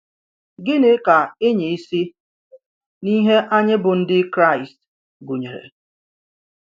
Gịnì kà ị̀nyà ìsì n’ìhè anyị bụ́ Ndị Kràịst gùnyere?